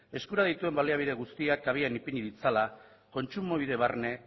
eskura dituen baliabide guztiak habian ipini ditzala kontsumobide barne